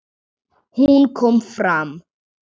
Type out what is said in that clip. Hún kom fram.